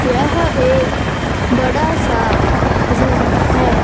यह एक बड़ा सा रूम है।